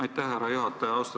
Aitäh, härra juhataja!